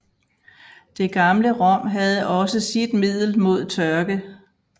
Det gamle Rom havde også sit middel mod tørke